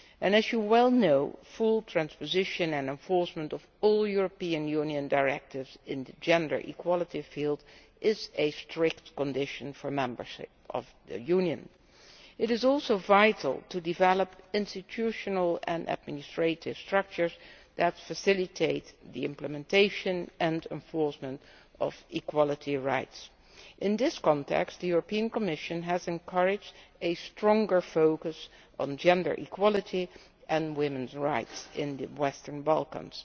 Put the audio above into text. As you well know, full transposition and enforcement of all European Union directives in the field of gender equality is a strict condition for membership of the Union. It is also vital to develop institutional and administrative structures that facilitate the implementation and enforcement of equality rights. In this context, the Commission has encouraged a stronger focus on gender equality and women's rights in the Western Balkans.